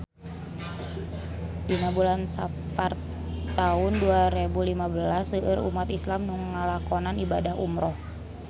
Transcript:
Dina bulan Sapar taun dua rebu lima seueur umat islam nu ngalakonan ibadah umrah